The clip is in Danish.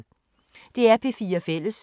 DR P4 Fælles